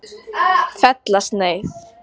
Fellasneið